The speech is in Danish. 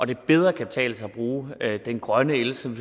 det bedre kan betale sig at bruge den grønne el som